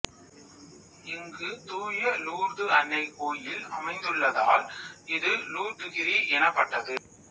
இங்கு தூய லூர்து அன்னை கோயில் அமைந்துள்ளதால் இது லூர்துகிரி எனப்பட்டது